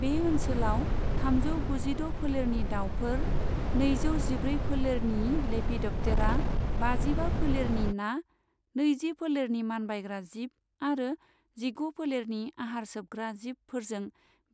बे ओनसोलाव थामजौ गुजिद' फोलेरनि दावफोर, नैजौ जिब्रै फोलेरनि लेपिडप्टेरा, बाजिबा फोलेरनि ना, नैजि फोलेरनि मानबायग्रा जिब आरो जिगु फोलेरनि आहार सोबग्रा जिबफोरजों